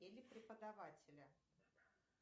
или преподавателя